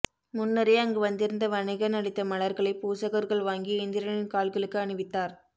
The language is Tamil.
முன்னரே அங்கு வந்திருந்த வணிகன் அளித்த மலர்களை பூசகர்கள் வாங்கி இந்திரனின் கால்களுக்கு அணிவித்தார்